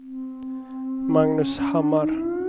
Magnus Hammar